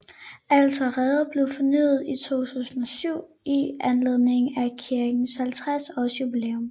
Alteret blev fornyet i 2007 i anledning af kirkens 50 års jubilæum